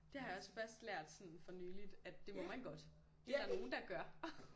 Det har jeg også først lært sådan for nyligt at det må man godt Det der nogen der gør